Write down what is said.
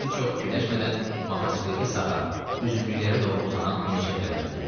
Mehdi çox fikirləşmədən motosikleti sağa, üzümlüklərə doğru uzanan enişə tərəf döndərdi.